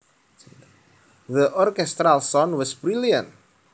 The orchestral sound was brilliant